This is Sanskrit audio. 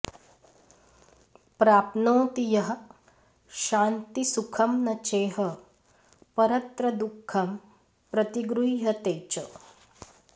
प्राप्नोति यः शान्तिसुखं न चेह परत्र दुःखं प्रतिगृह्यते च